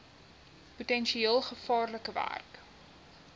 potensieel gevaarlike werk